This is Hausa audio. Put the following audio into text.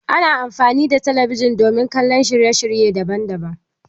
Ana amfani da talabijin domin kallon shirye shirye daban daban.